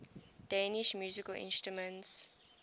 danish musical instruments